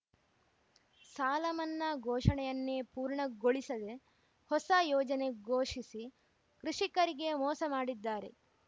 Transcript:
ಸಾಲಮನ್ನಾ ಘೋಷಣೆಯನ್ನೇ ಪೂರ್ಣಗೊಳಿಸದೆ ಹೊಸ ಯೋಜನೆ ಘೋಷಿಸಿ ಕೃಷಿಕರಿಗೆ ಮೋಸ ಮಾಡಿದ್ದಾರೆ